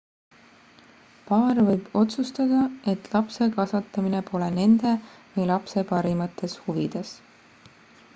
paar võib otsustada et lapse kasvatamine pole nende või lapse parimates huvides